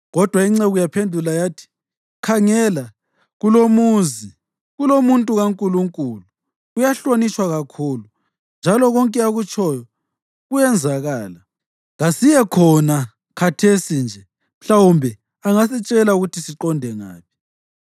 Kodwa inceku yaphendula yathi, “Khangela, kulumuzi kulomuntu kaNkulunkulu; uyahlonitshwa kakhulu, njalo konke akutshoyo kuyenzakala. Kasiye khona khathesi nje. Mhlawumbe angasitshela ukuthi siqonde ngaphi.”